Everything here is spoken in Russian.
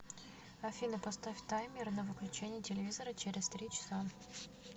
афина поставь таймер на выключение телевизора через три часа